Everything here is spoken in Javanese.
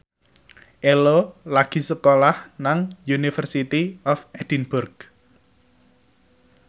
Ello lagi sekolah nang University of Edinburgh